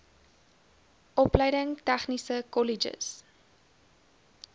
opleiding tegniese kolleges